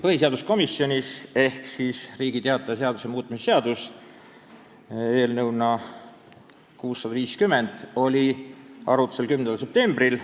Põhiseaduskomisjonis oli Riigi Teataja seaduse muutmise seaduse eelnõu 659 arutlusel 10. septembril.